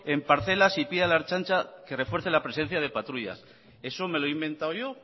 en parcelas y pide a la ertzaintza que refuerce la presencia de patrullas eso me lo he inventado yo